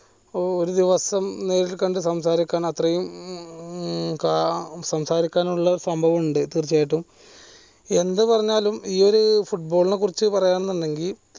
ഒരു ദിവസം സംസാരിക്കാൻ അത്രെയും ഉം സംസാരിക്കാനുള്ള സംഭവം ഇണ്ട് തീർച്ചയായിട്ടും എന്താ പറഞ്ഞാലും ഈയൊരു football നെ കുറിച്ച് പറയാന്ന് ഇണ്ടെങ്കിൽ